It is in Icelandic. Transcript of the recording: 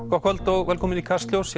gott kvöld og velkomin í Kastljós